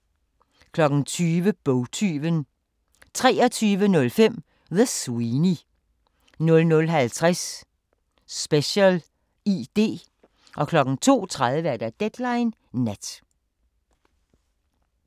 20:00: Bogtyven 23:05: The Sweeney 00:50: Special ID 02:30: Deadline Nat